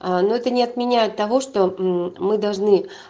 но это не отменяет того что мы должны